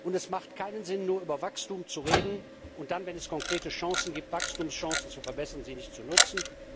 Und es macht keinen Sinn, über Wachstum nur zu reden, und dann, wenn es konkrete Chancen gibt, die Wachstumsperspektiven zu verbessern, sie nicht zu nutzen.